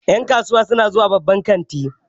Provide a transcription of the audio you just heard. Ƴan kasuwa su na zuwa babban kanti